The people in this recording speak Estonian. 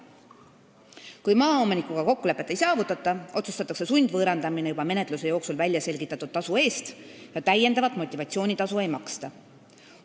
Kui maaomanikuga kokkulepet ei saavutata, otsustatakse sundvõõrandamine juba menetluse jooksul väljaselgitatud tasu eest ja täiendavat motivatsioonitasu ei maksta.